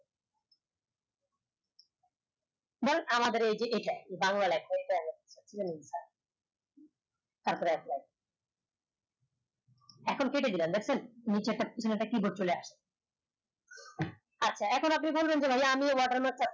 আমাদের এই এইটাই বাংলা লেখা এটাই তার পরে apply এখন কেটে দিলাম দেখছেন নিচের টা একটা keyboard চলে আসলো আচ্ছা এখন আপনি বলবেন